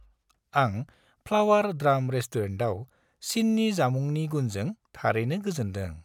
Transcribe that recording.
आं flower drum रेस्टुरेन्टआव चिननि जामुंनि गुनजों थारैनो गोजोनदों।